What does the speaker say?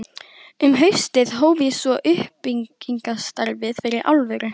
Um haustið hóf ég svo uppbyggingarstarfið fyrir alvöru.